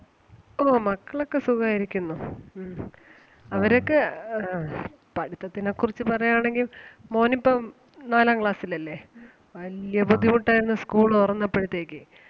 ഓഹ് മക്കളൊക്കെ സുഖായിരിക്കുന്നു. ഉം അവരൊക്കെ അഹ് പഠിത്തത്തിനെ കുറിച്ച് പറയാണെങ്കിൽ മോനിപ്പം നാലാം class ൽ അല്ലേ വല്ല്യ ബുദ്ധിമുട്ട് ആരുന്നു school തൊറന്നപ്പോഴത്തേക്ക്.